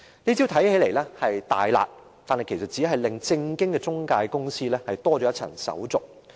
這招看起來是"大辣"，但這實際上只是令正當的中介公司多了一重手續。